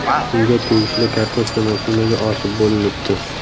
Unga tegishli kartoshka mashinaga ortib bo‘linibdi.